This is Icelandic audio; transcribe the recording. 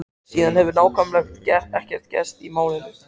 Síðan hefur nákvæmlega ekkert gerst í málinu.